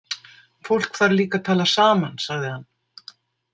Fólk þarf líka að tala saman, sagði hann.